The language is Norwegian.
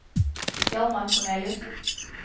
Hjalmar Korneliussen